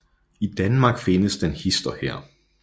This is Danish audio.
I Danmark findes den hist og her